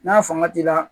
N'a fanga t'i la